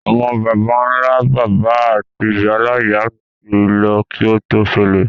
Àwon bàbánlá-bàbá áti ìyáláyá mi ti lo ki o to sẹlẹ̀